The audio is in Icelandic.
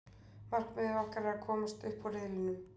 Markmiðið okkar er að komast upp úr riðlinum.